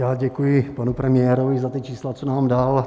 Já děkuji panu premiérovi za ta čísla, co nám dal.